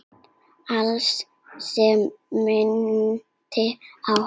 Allt sem minnti á hana.